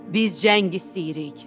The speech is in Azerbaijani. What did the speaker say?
Biz cəng istəyirik.